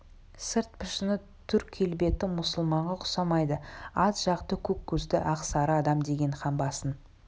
сырт пішіні түр келбеті мұсылманға ұқсамайды ат жақты көк көзді ақ сары адам деген хан басын